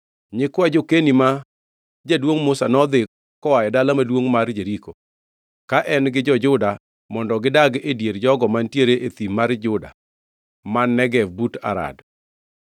Nyikwa jo-Keni ma jaduongʼ Musa, nodhi koa e Dala Maduongʼ mar Jeriko + 1:16 Ma bende iluongo ni Dala Maduongʼ mar Othidhe. ka en gi jo-Juda mondo gidag e dier jogo mantiere e thim mar Juda man Negev but Arad.